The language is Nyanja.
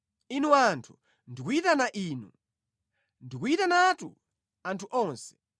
Inu anthu, ndikuyitana inu; ndikuyitanatu anthu onse.